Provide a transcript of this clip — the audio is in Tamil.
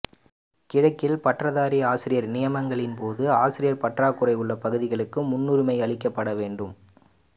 கிழக்கில் பட்டதாரி ஆசிரியர் நியமனங்களின் போது ஆசிரியர் பற்றாக்குறை உள்ள பகுதிகளுக்கு முன்னுரிமையளிக்கப்பட வேண்டும்